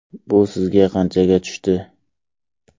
Bu sizga qanchaga tushdi?